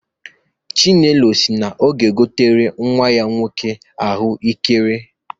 Chinelo si na ọ ga-egotere nnwa ya nwoke ahụekere.